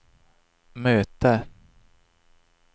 möte